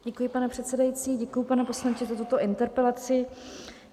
Děkuji, pane předsedající, děkuji, pane poslanče, za tuto interpelaci.